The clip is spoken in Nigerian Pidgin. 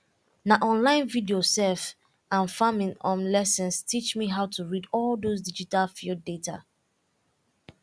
na online video um and farming um lessons teach me how to read all those digital field data